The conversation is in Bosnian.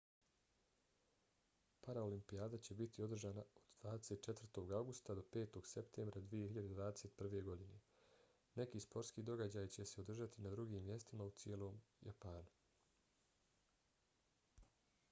paraolimpijada će biti održana od 24. avgusta do 5. septembra 2021. godine. neki sportski događaji će se održati i na drugim mjestima u cijelom japana